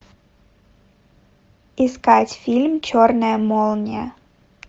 искать фильм черная молния